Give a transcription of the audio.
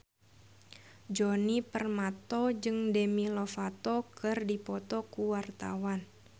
Djoni Permato jeung Demi Lovato keur dipoto ku wartawan